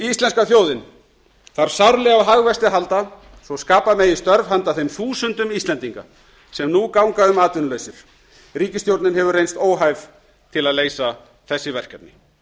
íslenska þjóðin þarf sárlega á hagvexti að halda svo skapa megi störf handa þeim þúsundum íslendinga sem nú ganga um atvinnulausir ríkisstjórnin hefur reynst óhæf til að leysa þessi verkefni